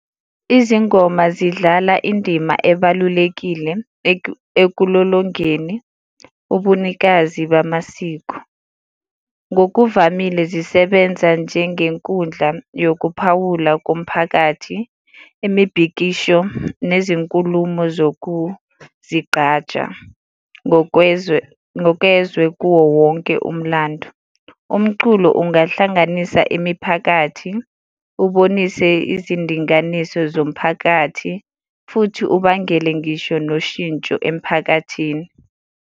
Izingoma zidlala indima ebalulekile ekulolongeni ubunikazi bamasiko. Ngokuvamile zisebenza njengenkundla yokuphawula komphakathi, imibhikisho, nezinkulumo zokuzigqaja ngokwezwe, ngokezwe kuwo wonke umlando. Umculo ungahlanganisa imiphakathi, ubonise izindinganiso zomphakathi, futhi ubangele ngisho noshintsho emphakathini.